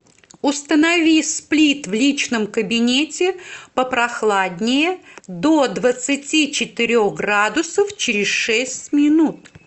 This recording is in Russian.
установи сплит в личном кабинете попрохладнее до двадцати четырех градусов через шесть минут